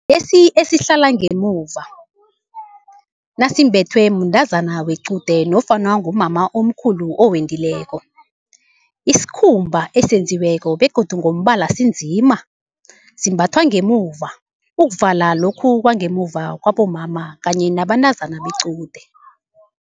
Lesi esihlala ngemuva, nasimbethwe mntazana wequde nofana ngumama omkhulu owendileko. Isikhumba esenziweko begodu ngombala sinzima, simbathwa ngemuva ukuvala lokhu kwangemuva kwabomama kanye nabantazana bequde.